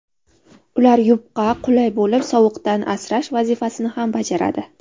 Ular yupqa, qulay bo‘lib, sovuqdan asrash vazifasini ham bajaradi.